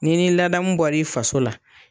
Ni ni ladamu bɔra i faso la